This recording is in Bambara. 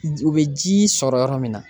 U bɛ ji sɔrɔ yɔrɔ min na